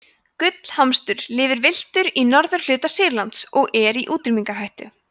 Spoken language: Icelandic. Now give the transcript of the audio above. gullhamstur lifir villtur í norðurhluta sýrlands og er í útrýmingarhættu